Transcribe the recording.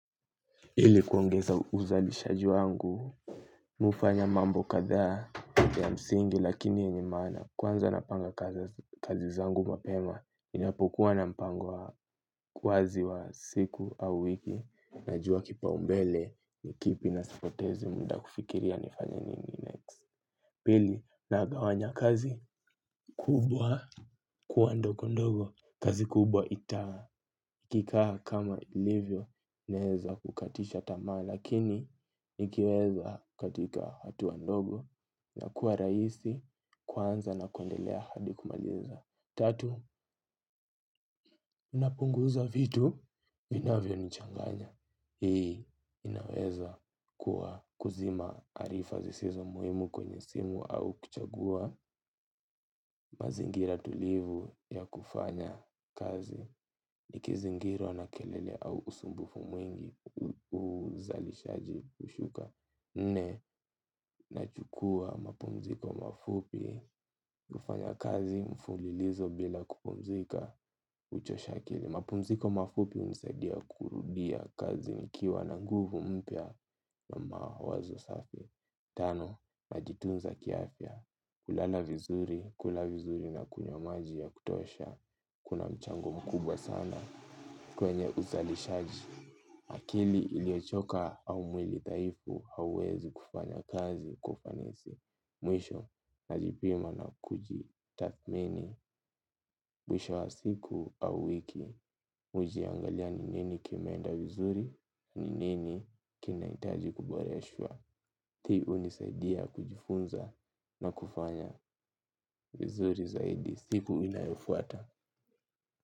Hili kuongeza uzalishaji wangu. Mi hufanya mambo kathaa ya msingi lakini yenye maana kwanza napanga kazi zangu mapema. Inapokuwa na mpango wa wazi wa siku au wiki. Najua kipaumbele kipi na sipotezi muda kufikiria nifanye nini next. Pili nagawanya kazi kubwa. Kuwa ndogo ndogo kazi kubwa ita kikaha kama ilivyo. Inaweza kukatisha tamaa lakini ikiweza katika hatua ndogo ya kuwa raisi kwanza na kundelea hadi kumaliza. Tatu, napunguza vitu vinavyo nichanganya. Hii, inaweza kuwa kuzima arifa zisizo muhimu kwenye simu. Au kuchagua mazingira tulivu ya kufanya kazi. Ikizingirwa na kelele au usumbufu mwingi uzalishaji ushuka nne nachukua mapumziko mafupi. Mi hufanya kazi mfulilizo bila kuklpumzika. Uchosha akili. Mapumziko mafupi unisadia kurudia kazi. Nikiwa na nguvu mpya na mawazo safi. Tano, najitunza kiafia. Kulala vizuri, kula vizuri na kunywa maji ya kutosha. Kuna mchango mkubwa sana kwenye uzalishaji akili iliochoka au mwili dhaifu hauwezi kufanya kazi kwa ufanisi. Mwisho najipima na kuji tathmini. Mwisho wa siku au wiki. Mi ujiangalia ni nini kimenda vizuri, ni nini kinaitaji kuboreshwa. Ti unisaidia kujifunza na kufanya vizuri zaidi. Siku inayofuata.